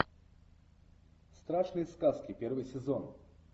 страшные сказки первый сезон